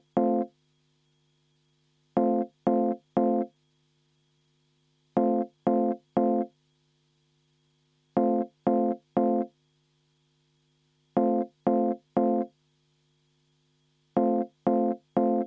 Ettepaneku poolt oli 4 Riigikogu liiget, vastu 49, erapooletuid 0.